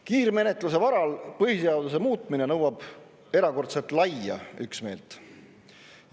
Kiirmenetluse varal põhiseaduse muutmine nõuab erakordselt laia üksmeelt.